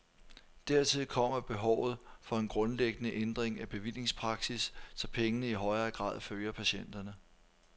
Dertil kommer behovet for en grundlæggende ændring af bevillingspraksis, så pengene i højere grad følger patienterne.